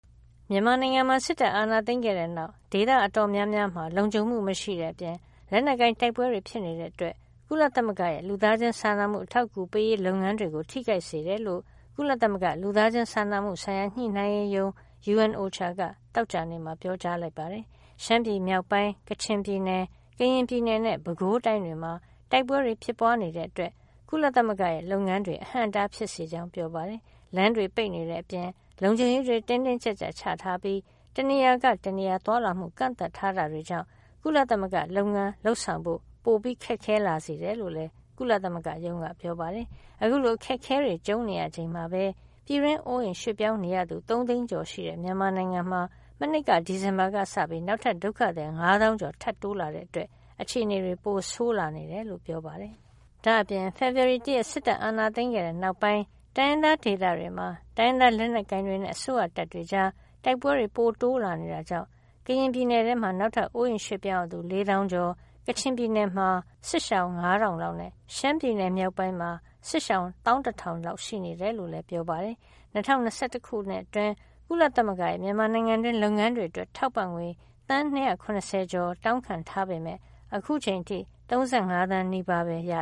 မြန်မာနိုင်ငံမှာ စစ်တပ်အာဏာ သိမ်းခဲ့တဲ့နောက် ဒေသအတော်များများမှာ လုံခြုံမှု မရှိတဲ့အပြင် လက်နက်ကိုင် တိုက်ပွဲတွေ ဖြစ်နေတာကြောင့် ကုလသမဂ္ဂရဲ့ လူသားချင်းစာနာမှု အထောက်အကူပေးရေး လုပ်ငန်းတွေကို ထိခိုက်စေတယ်လို့ ကုလသမဂ္ဂလူသားချင်းစာနာမှုဆိုင်ရာ ညှိနှိုင်းရေးရုံး UNOCHA က သောကြာနေ့မှာ ပြောကြားလိုက်ပါတယ်။ ရှမ်းပြည်မြောက်ပိုင်း၊ ကချင်ပြည်နယ်၊ ကရင်ပြည်နယ်နဲ့ ပဲခူးတိုင်း တွေမှာ တိုက်ပွဲတွေ ဖြစ်ပွါးနေတာကြောင့် ကုလသမဂ္ဂရဲ့ လုပ်ငန်းတွေအဟန့်အတား ဖြစ်စေကြောင်း ပြောပါတယ်။ လမ်းတွေ ပိတ်နေတဲ့ အပြင် လုံခြုံရေးတွေ တင်းတင်းကြပ်ကြပ် ချထားပြီး တနေရာကနေ တနေရာ သွားလာမှု ကန့်သတ်ထားတာ တွေကြောင့် ကုလသမဂ္ဂရဲ့ လုပ်ငန်း လုပ်ဆောင်မှုပို မိုခက်ခဲလာစေတယ်လို့လည်း ကုလသမဂ္ဂရုံးက ပြောပါတယ်။ အခုလို အခက်အခဲတွေ ကြုံနေရချိန်မှာပဲ ပြည်တွင်းအိုးအိမ်ရွှေ့ပြောင်း နေရသူ သုံးသိန်းကျော်ရှိနေတဲ့ မြန်မာနိုင်ငံမှာ မနှစ်က ဒီဇင်ဘာလကစပြီး နောက်ထပ် ဒုက္ခသည် ၅ သောင်းကျော် ထပ်တိုးလာတာကြောင့် အခြေနေတွေ ပိုဆိုးလာနေတယ်လို့လည်း ပြောပါတယ်။ ဒါ့အပြင် ဖေဖေါ်ဝါရီလ ၁ ရက် စစ်တပ်အာဏာသိမ်းခဲ့တဲ့ နောက်ပိုင်း တိုင်းရင်းသား ဒေသတွေမှာ တိုင်းရင်းသားလက်နက်ကိုင်တွေနဲ့ အစိုးရတပ်တွေကြား တိုက်ပွဲတွေ ပိုတိုးလာနေ တဲ့အတွက် ကရင်ပြည်နယ်ထဲမှာ နောက်ထပ် အိုးအိမ်ရွှေ့ပြောင်းရသူ ၄ သောင်းကျော်၊ ကချင်ပြည်နယ်မှာ မတ်လအစောပိုင်းကစတဲ့ တိုက်ပွဲတွေနောက်ပိုင်း စစ်ရှောင် ၅၀၀၀ လောက်နဲ့ ရှမ်းပြည် မြောက်ပိုင်းမှာတော့ ဒီနှစ်ဆန်းကစပြီး စစ်ရှောင် ၁၁,၀၀၀ လောက်ရှိနေတယ်လို့လည်း OCHA က ပြောပါတယ်။ ၂၀၂၁ ခုနှစ် အတွင်း ကုလသမဂ္ဂရဲ့ မြန်မာနိုင်ငံတွင်းလုပ်ငန်းတွေ အတွက် ထောက်ပံ့ငွေ သန်း ၂၇၀ ကျော် တောင်းခံထားပေမယ့် အခုချိန်အထိ ၃၅ သန်းနီးပါးပဲ ရ